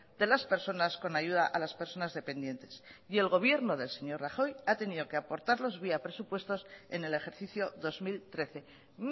de las personas con ayuda a las personas dependientes y el gobierno del señor rajoy ha tenido que aportarlos vía presupuestos en el ejercicio dos mil trece